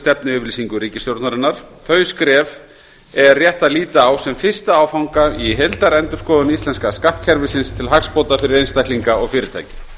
stefnuyfirlýsingu ríkisstjórnarinnar þau skref er rétt að líta á sem fyrsta áfanga í heildarendurskoðun íslenska skattkerfisins til hagsbóta fyrir einstaklinga og fyrirtæki